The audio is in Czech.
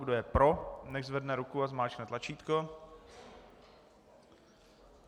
Kdo je pro, nechť zvedne ruku a zmáčkne tlačítko.